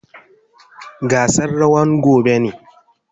Gasan rawan gobe ne.